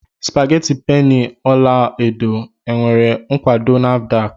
Spageti penny ọla edo nwere nkwado Nafdac?